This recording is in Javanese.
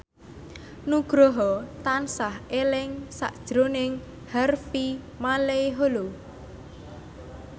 Nugroho tansah eling sakjroning Harvey Malaiholo